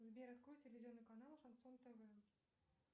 сбер открой телевизионный канал шансон тв